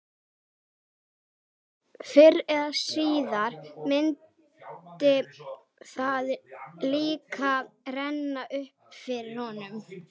Fyrr eða síðar myndi það líka renna upp fyrir honum.